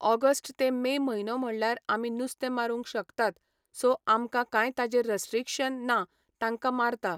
August ते May म्हयनो म्हणल्यार आमी नुस्तें मारूंक शकतात सो आमकां कांय ताजेर रस्ट्रिक्शन ना तांकां मारता